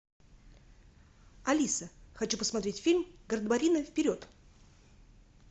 алиса хочу посмотреть фильм гардемарины вперед